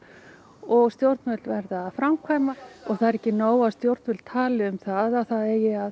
og stjórnvöld verða að framkvæma það er ekki nóg að stjórnvöld tali um að það eigi að